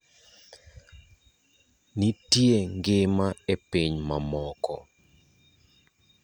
nitie ngima e piny mamoko